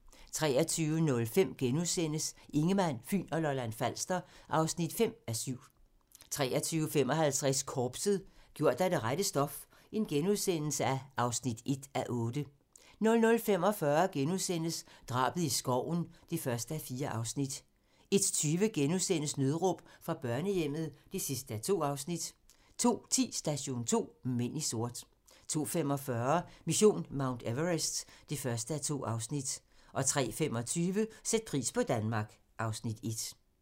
23:05: Ingemann, Fyn og Lolland-Falster (5:7)* 23:55: Korpset - gjort af det rette stof (1:8)* 00:45: Drabet i skoven (1:4)* 01:20: Nødråb fra børnehjemmet (2:2)* 02:10: Station 2: Mænd i sort 02:45: Mission Mount Everest (1:2) 03:25: Sæt pris på Danmark (Afs. 1)